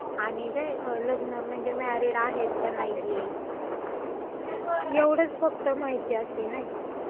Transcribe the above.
आणि..काय म्हणजे लग्न.. म्हणजे मॅरीड आहेत का नाहीयेत, एवढंच फक्त माहिती असती नाही का.